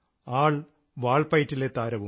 ആൾ വാൾപ്പയറ്റിൽ താരവും